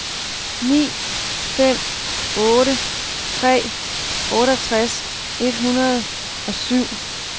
ni fem otte tre otteogtres et hundrede og syv